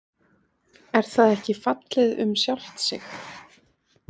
Er það ekki fallið um sjálft sig?